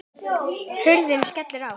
Hurðin skellur aftur.